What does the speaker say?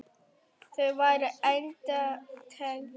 Þau væru enda tengd.